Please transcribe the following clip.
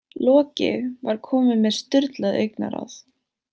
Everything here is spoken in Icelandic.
Loki var kominn með sturlað augnaráð.